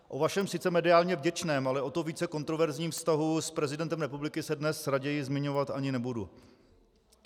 O vašem sice mediálně vděčném, ale o to více kontroverzním vztahu s prezidentem republiky se dnes raději zmiňovat ani nebudu.